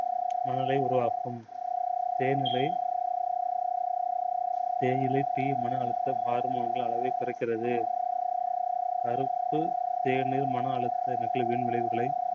மனநிலையை உருவாக்கும். தேயிலை தேயிலை tea மன அழுத்த harmone களை குறைக்கிறது. கருப்பு தேயிலை மன அழுத்த விளைவுகளை